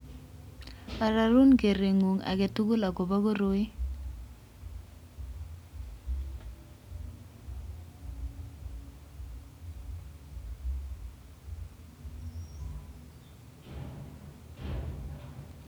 Ororun kereng'ung' agetugul agobo koroi